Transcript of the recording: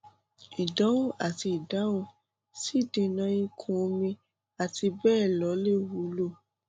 ìdánwò àti ìdáhùn sí ìdènàìkún omi àti bẹẹ lọ lè wúlò